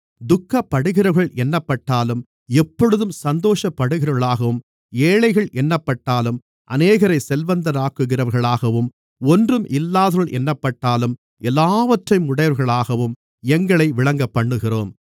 துக்கப்படுகிறவர்கள் என்னப்பட்டாலும் எப்பொழுதும் சந்தோஷப்படுகிறவர்களாகவும் ஏழைகள் என்னப்பட்டாலும் அநேகரை செல்வந்தர்களாக்குகிறவர்களாகவும் ஒன்றும் இல்லாதவர்கள் என்னப்பட்டாலும் எல்லாவற்றையும் உடையவர்களாகவும் எங்களை விளங்கப்பண்ணுகிறோம்